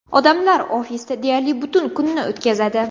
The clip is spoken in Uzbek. Odamlar ofisda deyarli butun kunni o‘tkazadi.